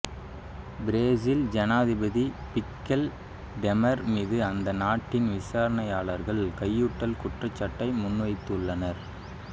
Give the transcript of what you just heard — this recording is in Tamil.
பிரேசில் ஜனாதிபதி மிக்கெல் தெமர் மீது அந்த நாட்டின் விசாரணையாளர்கள் கையூட்டல் குற்றச்சாட்டை முன்வைத்துள்ளனர்